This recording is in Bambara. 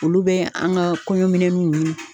Olu bɛ an ka kɔɲɔminw ɲini!